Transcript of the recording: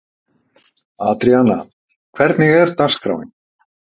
Adríana, hvernig er dagskráin?